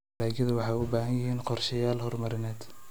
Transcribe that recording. Dalagyadu waxay u baahan yihiin qorshayaal horumarineed.